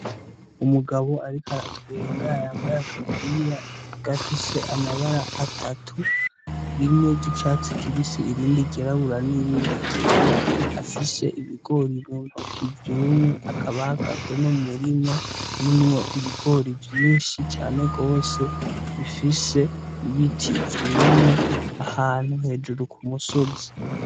Umugabo, ariko aratwenga yambaye agapira gafise amabara atatu rimwe ry'icatsi kibisi irindi gerabura n'irindi ryera afise ibigori ryuntuko ivyumwe akabagaze no mu murima urimwo ibigori vyinshi cane rwose bifise ibiti ivyumye ahantu hejuru ku musozi.